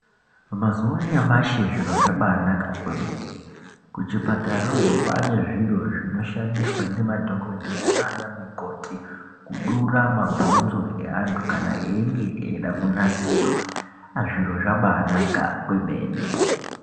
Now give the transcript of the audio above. Mazuwa anyamashi zviro zvabanaka kwemene. Kuchipatarayo kwane zviro zvinoshandiswa nemadhokodheya nana mukoti kudura mabhonzo eantu kana eyinge eida kunasirwa. Zviro zvabanaka kwemene.